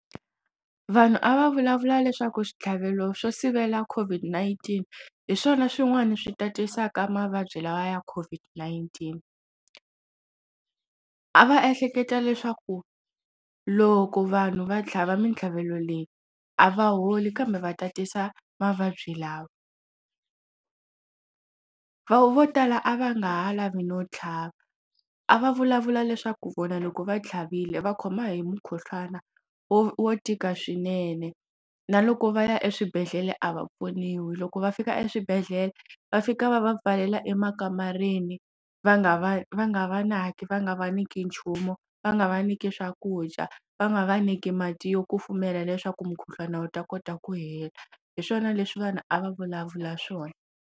Vanhu a va vulavula leswaku switlhavelo swo sivela COVID-19 hi swona swin'wana swi tatisaka mavabyi lawa ya COVID-19 a va ehleketa leswaku loko vanhu va tlhava mitlhavelo leyi a va holi kambe va tatisa mavabyi lawa vo tala a va nga ha lavi no tlhava a va vulavula leswaku vona loko va tlhavile va khoma hi mukhuhlwana wo wo tika swinene na loko va ya eswibedhlele a va pfuniwi loko va fika eswibedhlele va fika va va pfalela emakamareni va nga va va nga va naki va nga vanyiki nchumu va nga va nyika swakudya va nga va nyiki mati yo kufumela leswaku mukhuhlwana wu ta kota ku hela hi swona leswi vanhu a va vulavula swona.